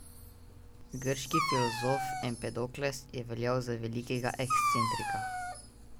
Grški filozof Empedokles je veljal za velikega ekscentrika.